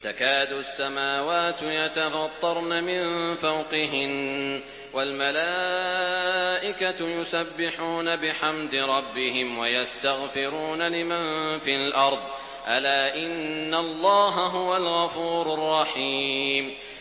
تَكَادُ السَّمَاوَاتُ يَتَفَطَّرْنَ مِن فَوْقِهِنَّ ۚ وَالْمَلَائِكَةُ يُسَبِّحُونَ بِحَمْدِ رَبِّهِمْ وَيَسْتَغْفِرُونَ لِمَن فِي الْأَرْضِ ۗ أَلَا إِنَّ اللَّهَ هُوَ الْغَفُورُ الرَّحِيمُ